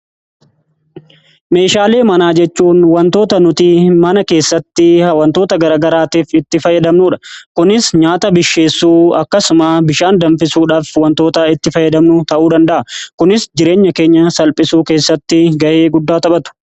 meeshaalee manaa jechuun wantoota nuti mana keessatti wantoota garagaraatiif itti fayyadamnuudha. kunis nyaata bilcheessuu akkasuma bishaan danfisuudhaaf wantoota itti fayyadamnu ta'uu danda'a kunis jireenya keenya salphisuu keessatti ga'ee guddaa taphatu.